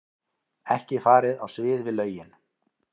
Ekki farið á svig við lögin